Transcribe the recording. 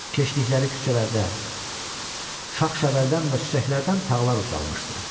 Keçdikləri küçələrdə şaxşəvəldən və çiçəklərdən tağlar ucalmışdı.